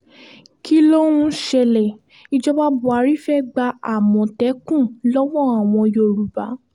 kí ló ń ṣẹlẹ̀ ìjọba buhari fee gba àmọ̀tẹ́kùn lọ́wọ́ àwọn yorùbá